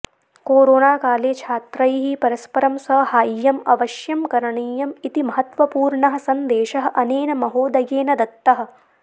कोरोनाकाले छात्रैः परस्परं सहाय्यम् अवश्यं करणीयम् इति महत्त्वपूर्णः सन्देशः अनेन महोदयेन दत्तः